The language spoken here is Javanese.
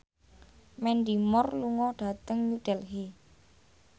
Mandy Moore lunga dhateng New Delhi